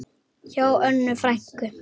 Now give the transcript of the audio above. Hjá Önnu frænku.